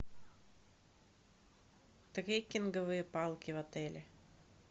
трекинговые палки в отеле